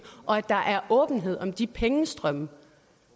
og at der er åbenhed om de pengestrømme